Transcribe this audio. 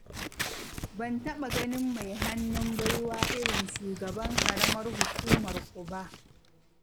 Ban taɓa ganin mai hannun baiwa irin shugaban ƙaramar hukumarku ba.